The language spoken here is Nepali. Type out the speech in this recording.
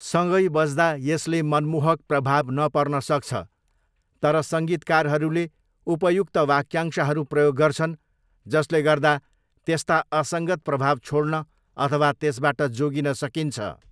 सँगै बज्दा यसले मनमोहक प्रभाव नपर्न सक्छ, तर सङ्गीतकारहरूले उपयुक्त वाक्यांशहरू प्रयोग गर्छन् जसले गर्दा त्यस्ता असङ्गत प्रभाव छोड्न अथवा त्यसबाट जोगिन सकिन्छ।